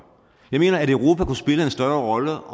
jeg mener at europa kunne spille en større rolle